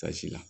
Kasi la